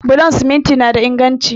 Bulon siminti na da inganci